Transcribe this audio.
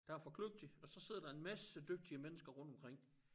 Der for kløgtige og så sidder der en masse dygtige mennesker rundtomkring